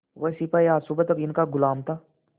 वह सिपाही आज सुबह तक इनका गुलाम था